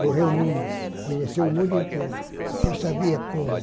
Correr o mundo, conhecer o mundo inteiro, porque eu sabia como.